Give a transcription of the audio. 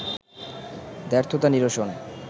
দ্ব্যর্থতা নিরসন